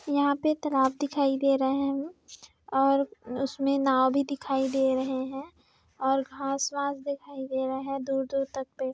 यहाँ पे एक तालाब दिखाई दे रहा है और उसमे नाव भी दिखाई दे रहे है और घास वास दिखाई दे रहा है दूर दूर तक पे--